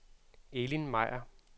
Elin Meyer